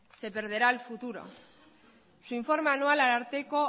se perderá el futuro su informe anual ararteko